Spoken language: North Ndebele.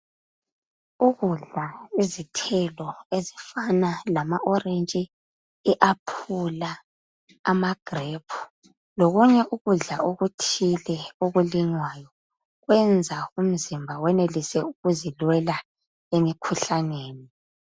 Ukudla izithelo ezifana lama orentshi,i aphula amagrephu lokunye ukudla okuthile okulinywayo kwenza umzimba wenelise ukuzilwela emikhuhlaneni.